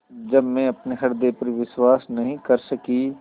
जब मैं अपने हृदय पर विश्वास नहीं कर सकी